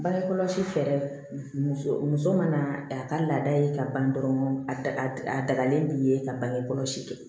Bange kɔlɔsi fɛɛrɛ muso mana a ka laada ye ka ban dɔrɔn a dagalen b'i ye ka bange kɔlɔsi kɛ